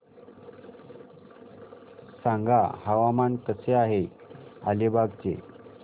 सांगा हवामान कसे आहे अलिबाग चे